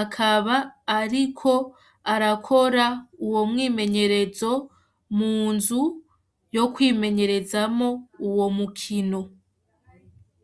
akaba ariko arakora uwo mwimenyerezo munzu yo kwimenyerezamo uwo mukino